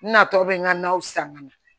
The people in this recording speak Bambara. Natɔ bɛ n ka naw san ka na